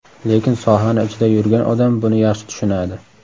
Lekin sohani ichida yurgan odam buni yaxshi tushunadi.